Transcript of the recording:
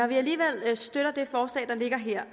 vi alligevel støtter det forslag der ligger her